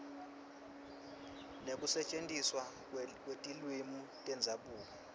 nekusetjentiswa kwetilwimi tendzabuko